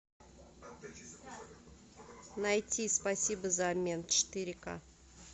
найти спасибо за обмен четыре ка